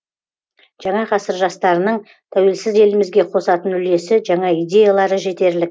жаңа ғасыр жастарының тәуелсіз елімізге қосатын үлесі жаңа идеялары жетерлік